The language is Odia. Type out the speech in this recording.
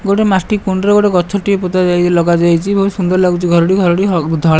ଗୋଟିଏ ମାଟି କୁଣ୍ଡରେ ଗୋଟେ ଗଛଟିଏ ପୋତାଯାଇଚି ଲଗାଯାଇଚି। ବୋହୁତ ସୁନ୍ଦର ଲାଗୁଛି ଘରଟି। ଘରଟି ହ ଧଳା।